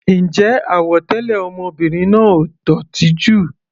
Ǹjẹ́ àwọ̀ tẹlẹ ọmọbìnrin náà ò dótì jù?